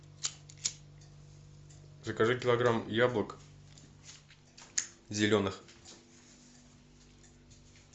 закажи килограмм яблок зеленых